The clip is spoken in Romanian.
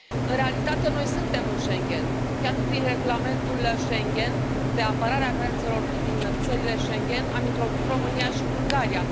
În realitate, noi suntem în Schengen, chiar prin regulamentul Schengen de apărare a granițelor din țările Schengen am introdus România și Bulgaria.